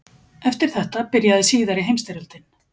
Eftir þetta byrjaði síðari heimsstyrjöldin.